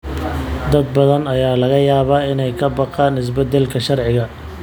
Dad badan ayaa laga yaabaa inay ka baqaan isbeddelka sharciga.